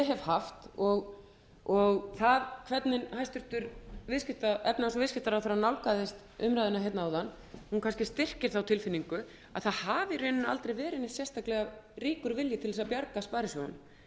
hef haft og það hvernig hæstvirtur efnahags og viðskiptaráðherra nálgaðist umræðuna áðan kannski styrkir þá tilfinningu að það hafi aldrei verið neitt sérstaklega ríkur vilji til að bjarga sparisjóðunum